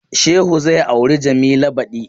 Shehu zai auri Jamila badi.